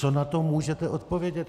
Co na to můžete odpovědět?